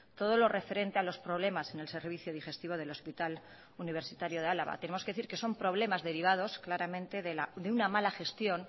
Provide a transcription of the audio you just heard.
todo lo referente a los problemas en el servicio digestivo del hospital universitario de álava tenemos que decir que son problemas derivados claramente de una mala gestión